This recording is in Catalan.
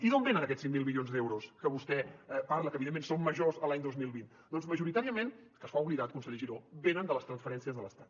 i d’on venen aquests cinc mil milions d’euros de que vostè parla que evidentment són majors l’any dos mil vint doncs majoritàriament que se n’ha oblidat conseller giró venen de les transferències de l’estat